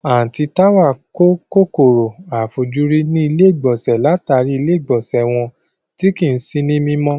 Àǹtí Táwà kó kòkòrò àìfojúrí nílé ìgbọ̀nsẹ̀ látàrí ilé ìgbọ̀nsẹ́ wọn tí kìí sí ní mímọ́